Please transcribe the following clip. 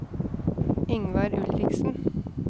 Yngvar Ulriksen